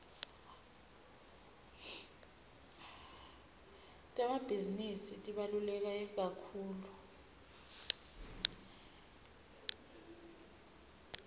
temabhizinisi tibalulekekakhulu